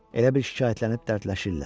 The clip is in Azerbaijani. Elə bil şikayətlənib dərdləşirlər.